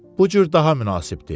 Bu cür daha münasibdir.